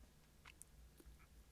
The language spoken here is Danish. Bind 1.